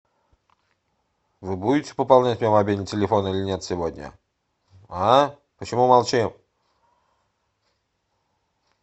вы будете пополнять мне мобильный телефон или нет сегодня а почему молчим